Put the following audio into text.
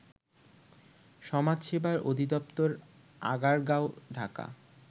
সমাজসেবা অধিদপ্তর আগারগাঁও ঢাকা